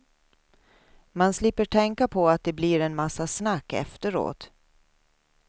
Man slipper tänka på att det blir en massa snack efteråt.